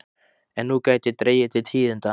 En nú gæti dregið til tíðinda.